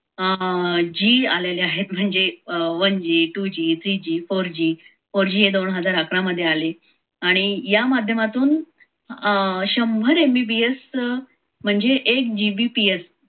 आह g आलेले आहेत म्हणजे one g two g three g four g, four g हे दोन हजार आकार मध्ये आली आणि या माध्यमातून शंभर mbps म्हणजे एक gbps